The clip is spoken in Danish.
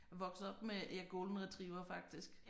Jeg vokset op med ja Golden Retriever faktisk